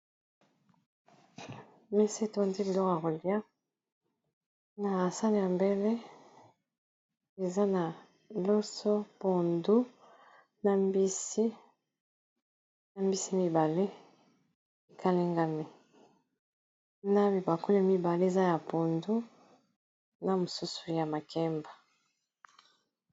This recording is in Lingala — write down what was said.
Mesa, etondi biloko ya kolia. Na sani ya mbele, eza na loso, pondu, na mbisi mibale ; ekalengami. Na bibakuli mibale, eza ya pondu, na mosusu ya makemba.